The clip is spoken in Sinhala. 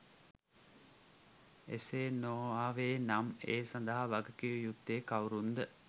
එසේ නො ආවේ නම් ඒ සඳහා වගකිව යුත්තේ කවුරුන්ද?